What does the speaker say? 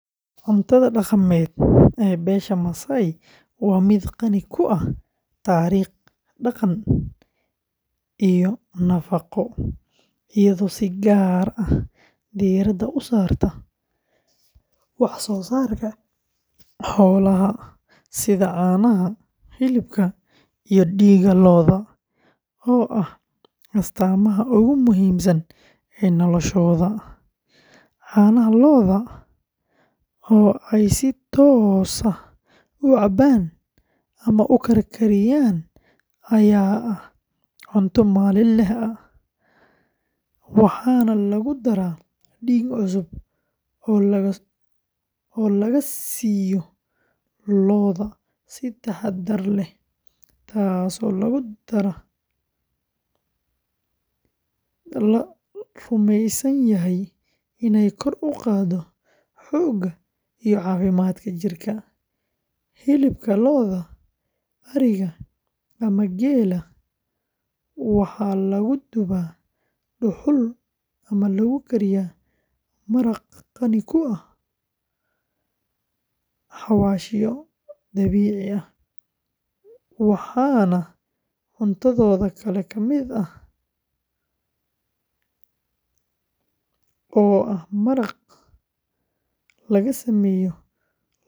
Cuntada dhaqameed ee beesha Maasai waa mid qani ku ah taariikh, dhaqan iyo nafaqo, iyadoo si gaar ah diiradda u saarta wax-soo-saarka xoolaha sida caanaha, hilibka iyo dhiigga lo’da oo ah astaamaha ugu muhiimsan ee noloshooda; caanaha lo’da oo ay si toos ah u cabaan ama u karkariyaan ayaa ah cunto maalinle ah, waxaana lagu daraa dhiig cusub oo laga siiyo lo’da si taxaddar leh, taasoo la rumeysan yahay inay kor u qaaddo xoogga iyo caafimaadka jirka; hilibka lo’da, ariga ama geela waxaa lagu dubaa dhuxul ama lagu kariyaa maraq qani ku ah xawaashyo dabiici ah, waxaana cuntadooda kale ka mid ah oo ah maraq laga sameeyo lafaha lo’da.